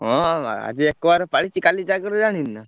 ହଁ ବା ଆଜି ଏକବାର ପାଳିଛି କାଲି ଜାଗର ଜାଣିନୀ ନା?